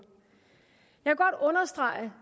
jeg